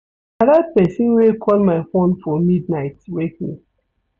Na dat pesin wey call my fone for mid-night wake me.